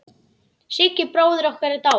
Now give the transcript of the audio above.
Siggi bróðir okkar er dáinn.